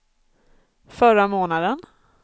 förra månaden